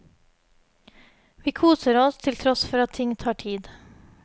Vi koser oss til tross for at ting tar tid.